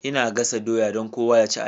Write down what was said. Ina gasa doya don kowa ya ci a yau.